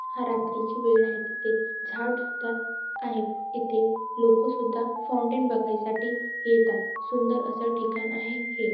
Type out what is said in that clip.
हा रात्री ची वेळ आहे तिथे झाड सुद्धा आहेत इथे लोक सुद्धा फाउंटैन बघाय साठी येतात सुंदर अस ठिकाण आहे हे --